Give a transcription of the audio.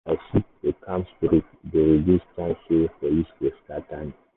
if i shift go calm street e dey reduce chance say police go scatter me.